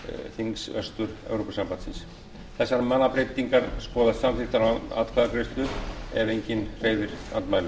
þings vestur evrópusambandsins þessar mannabreytingar skoðast samþykktar án atkvæðagreiðslu ef enginn hreyfir andmælum